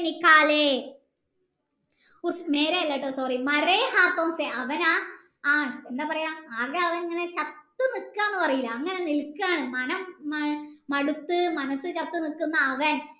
ആല്ലെടോ sorry അവൻ ആ എന്താ പറയാ ആകെ അവൻ ചത്തു നിക്കാണ് പറയിലെ അങ്ങനെ നിൽക്കാണ് പറയില്ലേ അങ്ങനെ നിക്കാണ് മനം മടത്തു മനസ്സ് ചത്ത് നിക്കുന്ന അവൻ